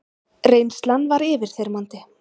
Reynslan var yfirþyrmandi.